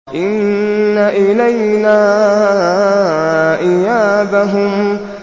إِنَّ إِلَيْنَا إِيَابَهُمْ